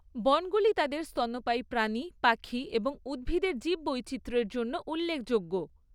বনগুলি তাদের স্তন্যপায়ী প্রাণী, পাখি এবং উদ্ভিদের জীববৈচিত্র্যের জন্য উল্লেখযোগ্য।